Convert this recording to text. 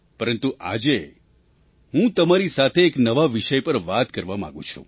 પરંતુ આજે હું તમારી સાથે એક નવા વિષય પર વાત કરવા માગું છું